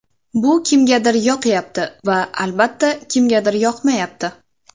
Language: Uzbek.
Bu kimgadir yoqyapti va, albatta, kimgadir yoqmayapti.